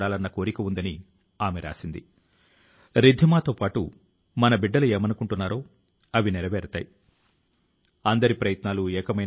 అయితే మీరు అలా సాధించకపోతే మీరు సాధారణ స్థాయి లో ఉన్నారని అనుకోకండి